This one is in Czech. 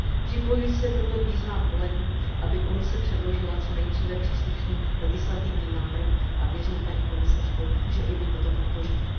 Připojuji se proto k výzvám kolegů, aby Komise předložila co nejdříve příslušný legislativní návrh, a věřím, paní komisařko, že i Vy toto podpoříte.